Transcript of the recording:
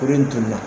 Kurun in tununna